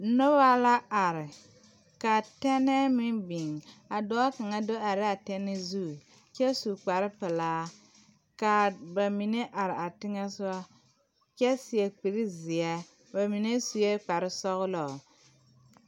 Noba la are ka tunnel meŋ biŋ dɔɔ kaŋa do are la a tɛne zu kyɛ su kpare pelaa ka ba mine are a teŋɛ sɔgɔ kyɛ seɛ kuri seɛ ba mine sue kpare sɔglɔ.